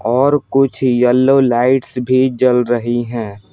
और कुछ yellow lights भी जल रही हैं।